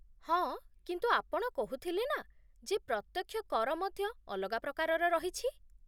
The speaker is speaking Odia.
ହଁ, କିନ୍ତୁ ଆପଣ କହୁଥିଲେ ନା, ଯେ ପ୍ରତ୍ୟକ୍ଷ କର ମଧ୍ୟ ଅଲଗା ପ୍ରକାରର ରହିଛି ?